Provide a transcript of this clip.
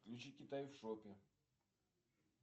включи китай в шопе